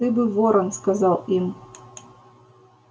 ты бы ворон сказал им